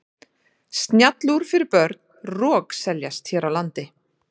Snjallúr fyrir börn rokseljast hér á landi.